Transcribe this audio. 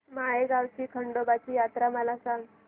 माळेगाव ची खंडोबाची यात्रा मला सांग